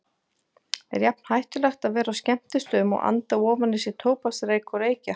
Er jafn hættulegt að vera á skemmtistöðum og anda ofan í sig tóbaksreyk og reykja?